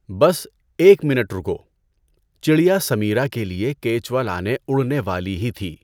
بس ایک منٹ رُکو۔ چڑیا سمیرا کے لئے کیچوا لانے اُڑنے والی ہی تھی۔